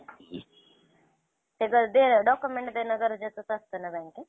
आणि दहा tiffin केला तर पैतीस हजार रुपये येतील अणि त्याचात तुमाला तुमचा खर्च पण निघतो तुमचा घर पण चांगला राहणार